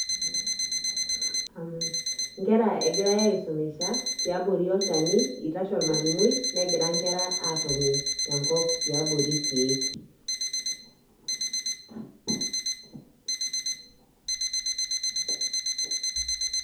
Inkera egirai aisumisha tiabori olchani, itashe ormalimui negira nkera atoni tenkop tiabori irkeek.